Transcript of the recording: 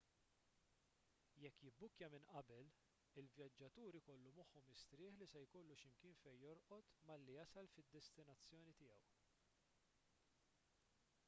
jekk jibbukkja minn qabel il-vjaġġatur ikollu moħħu mistrieħ li se jkollu x'imkien fejn jorqod malli jasal fid-destinazzjoni tiegħu